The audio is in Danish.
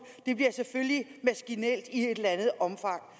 det bliver selvfølgelig maskinelt i et eller andet omfang